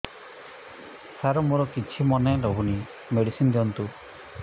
ସାର ମୋର କିଛି ମନେ ରହୁନି ମେଡିସିନ ଦିଅନ୍ତୁ